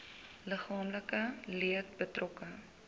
liggaamlike leed betrokke